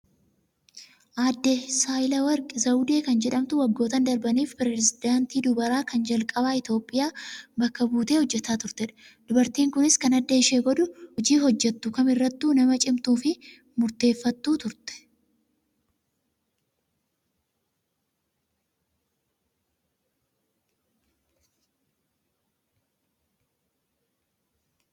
Aaddee Saahilewarq Zawdee kan jedhamtu waggoottan darbaniif pirezedaantii dubaraa kan calqabaa Itoophiyaa bakka buutee hojjataa turtedha. Dubartiin kunis kan adda ishee godhu hojii hojjattu kamirrattuu nama cimtuu fi murteeffattuu turte.